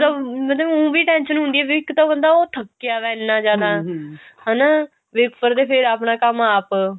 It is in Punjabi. ਇੱਕ ਤਾਂ ਉ ਵੀ ਟੈਂਸ਼ਨ ਹੁੰਦੀ ਆ ਵੀ ਇੱਕ ਤਾਂ ਉਹ ਥੱਕਿਆ ਵਿਆ ਇੰਨਾ ਜਿਆਦਾ ਹਨਾ ਵੀ ਉਪਰ ਤੋਂ ਫਿਰ ਆਪਣਾ ਕੰਮ ਆਪ